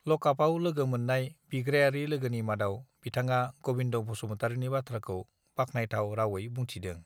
लकापआव लोगो मोननाय बिग्रायारि लोगोनि मादाव बिथाङा गबिन्द बसुमतारिनि बाथ्राखौ बाखनायथाव रावयै बुंथिदों